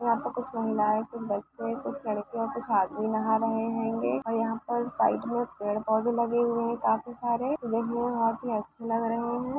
वहाँ पर कुछ महिलाये कुछ बच्चे कुछ लड़के कुछ आदमी नाहा रहे हेगे और यहाँ पे साइड में पेड़ पौधे हुए काफी सारे